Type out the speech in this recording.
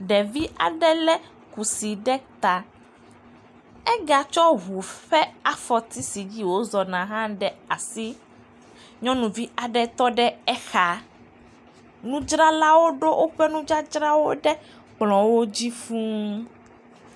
Ɖevi aɖe le kusi ɖe ta. Ega tsɔ ŋu ƒe afɔti si wo zɔ na hã ɖe asi, nyɔnuvi aɖe tɔ ɖe exa. Nudzralawo ɖo woƒe nudzadzrawo ɖe kplɔdzi fuu.